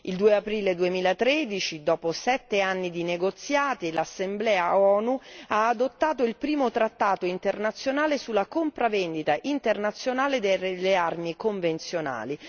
Il 2 aprile 2013, dopo sette anni di negoziati, l'Assemblea ONU ha adottato il primo trattato internazionale sulla compravendita internazionale delle armi convenzionali.